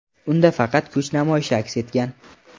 Unda faqat kuch namoyishi aks etgan.